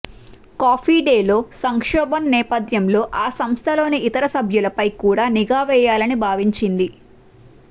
coffee డేలో సంక్షోభం నేపథ్యంలో ఆ సంస్థలోని ఇతర సభ్యులపై కూడా నిఘా వేయాలని భావించింది